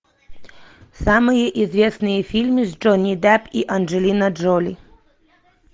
самые известные фильмы с джонни депп и анджелина джоли